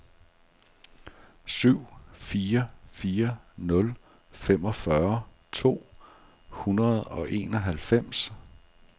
syv fire fire nul femogfyrre to hundrede og enoghalvfems